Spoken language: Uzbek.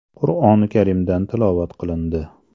Qur’oni Karimdan tilovat qilindi.